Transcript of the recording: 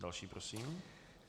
Další prosím.